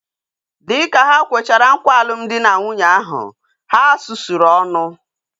Dịka ha kwechara nkwa alụmdi na nwunye ahu, ha sụsụrụ ọnụ